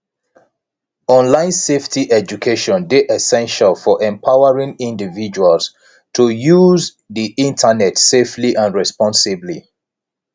online safety education dey essential for empowering individuals to use di internet safely and responsibly